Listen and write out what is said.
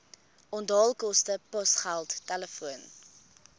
onthaalkoste posgeld telefoon